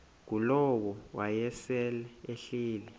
ngulowo wayesel ehleli